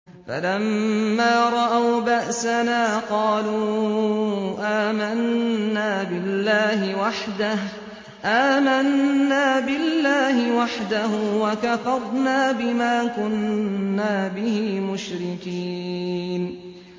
فَلَمَّا رَأَوْا بَأْسَنَا قَالُوا آمَنَّا بِاللَّهِ وَحْدَهُ وَكَفَرْنَا بِمَا كُنَّا بِهِ مُشْرِكِينَ